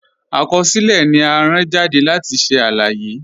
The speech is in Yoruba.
Akọsilẹ̀ ni à rán jàdé láti ṣẹ̀ aláyé.